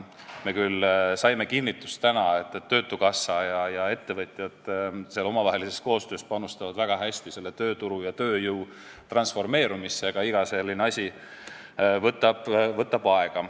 Me küll saime täna kinnitust, et töötukassa ja ettevõtjad omavahelises koostöös panustavad seal väga hästi tööturu ja tööjõu transformeerumisse, aga iga selline asi võtab aega.